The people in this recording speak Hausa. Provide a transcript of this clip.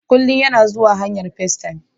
Kullum yana zuwa ta hanyar FaceTime